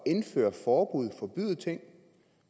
indføre forbud og forbyde ting